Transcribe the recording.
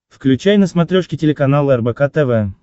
включай на смотрешке телеканал рбк тв